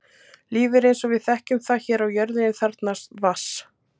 Lífið eins og við þekkjum það hér á jörðinni þarfnast vatns.